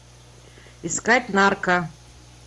искать нарко